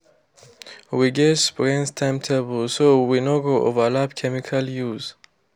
we get spraying timetable so we no go overlap chemical use.